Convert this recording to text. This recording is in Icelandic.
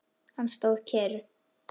Hann stóð kyrr.